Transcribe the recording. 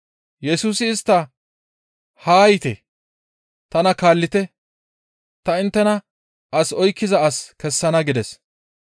Yesusi istta, «Haa yiite! Tana kaallite! Ta inttena as oykkiza as kessana» gides.